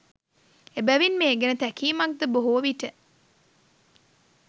එබැවින් මේ ගැන තැකීමක්ද බොහෝ විට